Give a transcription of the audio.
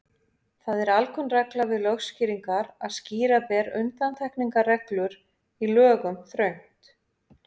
Það er alkunn regla við lögskýringar að skýra ber undantekningarreglur í lögum þröngt.